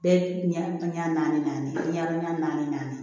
Bɛɛ ɲɛ naani ɲɛdɔn ɲɛ naani